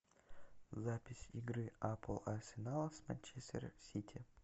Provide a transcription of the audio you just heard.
запись игры апл арсенал с манчестер сити